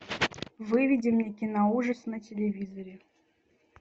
выведи мне киноужасы на телевизоре